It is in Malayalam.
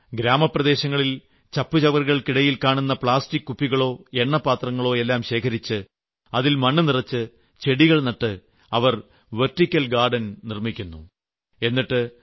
ഇത് മാത്രമല്ല ഗ്രാമപ്രദേശങ്ങളിൽ ചപ്പ് ചവറുകൾക്കിടയിൽ കാണുന്ന പ്ലാസ്റ്റിക് കുപ്പികളും എണ്ണപാത്രങ്ങളും എല്ലാം ശേഖരിച്ച് അതിൽ മണ്ണ് നിറച്ച് ചെടികൾ നട്ട് അവർ വെർട്ടിക്കൽ ഗാർഡൻ നിർമ്മിച്ചിരിക്കുന്നു